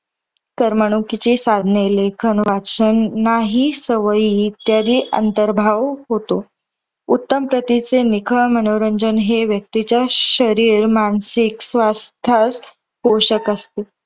करमणुकीची साधने लेखन वाचन नाही सवयी इत्यादी अंतर्भाव होतो. उत्तम प्रतीचे निखळ मनोरंजन हे व्यक्तीच्या शरीर मानसिक स्वास्थ्यास हे पोषक असते.